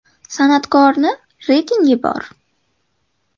San’atkorni reytingi bor.